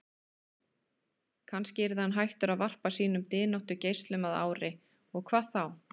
Kannski yrði hann hættur að varpa sínum dyntóttu geislum að ári, og hvað þá?